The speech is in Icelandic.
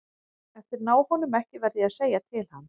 Ef þeir ná honum ekki verð ég að segja til hans.